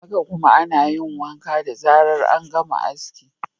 Haka kuma, ana yin wanka da zarar an gama aski.